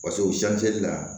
paseke o la